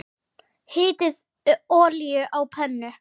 Hitið olíu á pönnu.